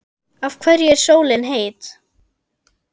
Af hverju er sólin heit?